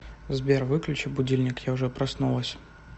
сбер выключи будильник я уже проснулась